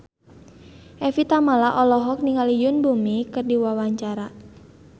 Evie Tamala olohok ningali Yoon Bomi keur diwawancara